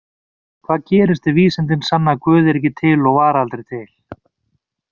Hvað gerist ef vísindin sanna að Guð er ekki til og var aldrei til?